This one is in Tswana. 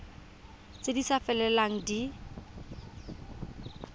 tse di sa felelang di